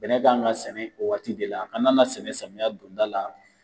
Bɛnɛ kan ka sɛnɛ o waati de la a kana na sɛnɛ samiyɛ donda la